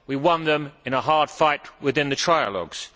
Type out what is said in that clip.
We won them in a hard fight within the trialogues.